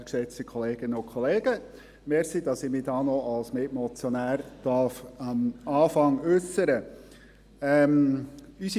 Danke, dass ich mich als Mitmotionär doch noch am Anfang äussern darf.